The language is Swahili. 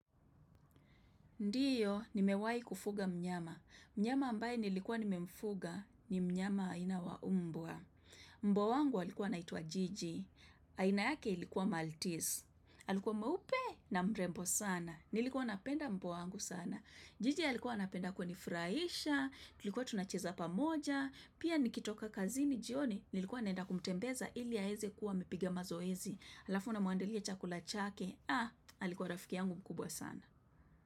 Ndiyo, nimewai kufuga mnyama. Mnyama ambaye nilikuwa nimemfuga ni mnyama haina wa mbwa. Mbwa wangu halikuwa naitua jiji. Haina yake ilikuwa Maltese. Halikuwa mweupe na mrembo sana. Nilikuwa napenda mbwa wangu sana. Jiji alikuwa napenda kunifuraisha. Tulikuwa tunacheza pamoja. Pia nikitoka kazini jioni. Nilikuwa naenda kumtembeza ili aeze kuwa amipiga mazoezi. Alafu na muandalia chakula chake. Ha, alikuwa rafiki yangu mkubwa sana.